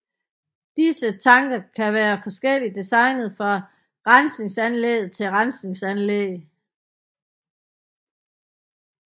Disse tanke kan være forskelligt designet fra rensningsanlæg til rensningsanlæg